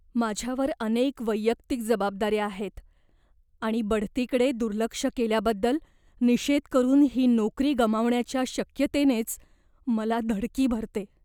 माझ्यावर अनेक वैयक्तिक जबाबदाऱ्या आहेत आणि बढतीकडे दुर्लक्ष केल्याबद्दल निषेध करून ही नोकरी गमावण्याच्या शक्यतेनेच मला धडकी भरते.